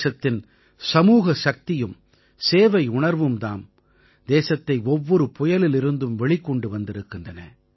தேசத்தின் சமூக சக்தியும் சேவையுணர்வும் தாம் தேசத்தை ஒவ்வொரு புயலிலிருந்தும் வெளிக்கொண்டு வந்திருக்கின்றன